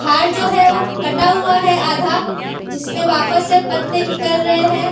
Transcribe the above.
और जो है वो कटा हुआ है आधा जिसमें वापस से पत्ते निकल रहे है।